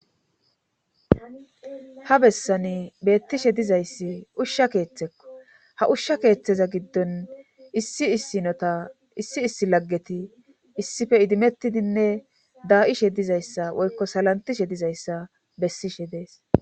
ha bessani beettishe dizayssi ushsha keeththekko ha ushsha keeththeza giddon issi issinota issi issi laggeti issife idimettidinne daa7ishe dizayssa woykko salantishe dizayssa bessishe dees